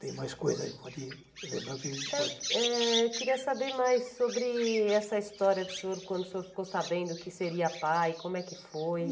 Tem mais coisas, pode lembrar o que a gente pode... Eh eh queria saber mais sobre essa história do senhor, quando o senhor ficou sabendo que seria pai, como é que foi?